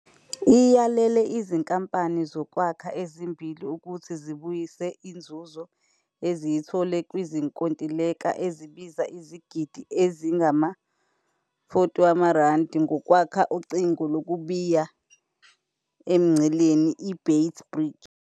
Iyalele izinkampani zokwakha ezimbili ukuthi zibuyise inzuzo eziyithole kwizinkontileka ezibiza izigidi ezingama-R40 zokwakha ucingo lokubiya emngceleni i-Beit Bridge.